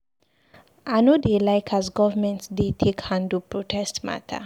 I no dey like as government dey take handle protest mata.